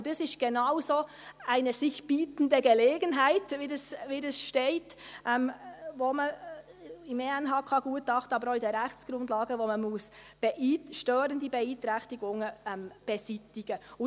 Das ist genau so eine «sich bietende Gelegenheit» – wie dies im ENHK-Gutachten, aber auch in den Rechtsgrundlagen steht –, bei der man störende Beeinträchtigungen beseitigen muss.